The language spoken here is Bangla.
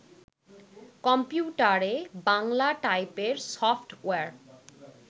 কম্পিউটারে বাংলা টাইপের সফট্ ওয়্যার